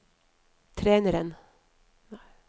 treneren